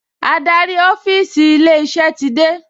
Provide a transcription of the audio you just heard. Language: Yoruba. Adarí ọ́fíìsì ilé-iṣẹ́ ti dé